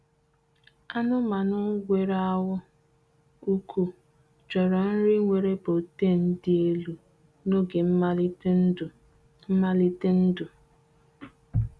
Anụmanụ nwere ahụ ukwu chọrọ nri nwere protein dị elu n’oge nmalite ndụ. nmalite ndụ.